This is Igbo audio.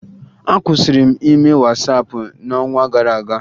Akwụsịrị m ime Wasaapụ n'ọnwa gara aga